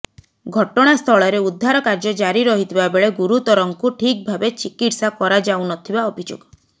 ଘଟଣା ସ୍ଥଳରେ ଉଦ୍ଧାର କାର୍ଯ୍ୟ ଜାରି ରହିଥିବା ବେଳେ ଗୁରୁତରଙ୍କୁ ଠିକ୍ ଭାବେ ଚିକିତ୍ସା କରାଯାଉ ନଥିବା ଅଭିଯୋଗ